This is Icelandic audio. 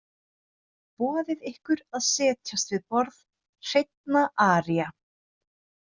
Boðið ykkur að setjast við borð hreinna aría.